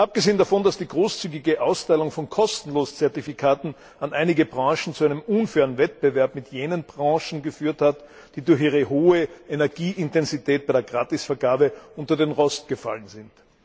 Abgesehen davon, dass die großzügige Austeilung von kostenlosen Zertifikaten an einige Branchen zu einem unfairen Wettbewerb mit jenen Branchen geführt hat, die durch ihre hohe Energieintensität bei der Gratisvergabe unter den Rost gefallen sind.